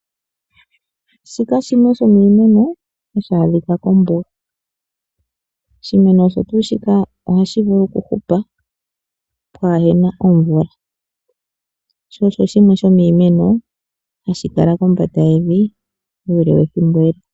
Shika shimwe sho miimeno, ohadhi adhika kombuga. Oshimeno shika ohadhi vulu okuhupa pwaana omvula, sho osho shimwe shomiimeno hashi kala kombanda yevi uule wethimbo.